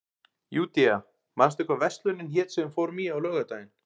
Júdea, manstu hvað verslunin hét sem við fórum í á laugardaginn?